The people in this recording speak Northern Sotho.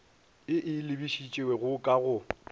e e lebišitšego ka go